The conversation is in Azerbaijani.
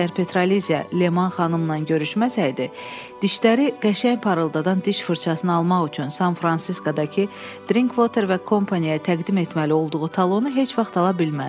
Əgər Petraliziya Leman xanımla görüşməsəydi, dişləri qəşəng parıldadan diş fırçasını almaq üçün San-Fransiskodakı Drinkwater və Kompaniyaya təqdim etməli olduğu talonu heç vaxt ala bilməzdi.